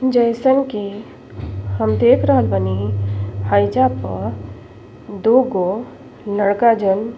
जइसन की हम देख रहल बानी हाईजा पर दुगो लड़का जन --